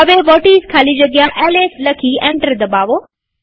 હવે વ્હોટિસ ખાલી જગ્યા એલએસ લખી એન્ટર દબાવો